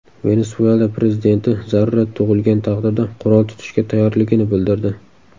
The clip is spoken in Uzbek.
Venesuela prezidenti zarurat tug‘ilgan taqdirda qurol tutishga tayyorligini bildirdi.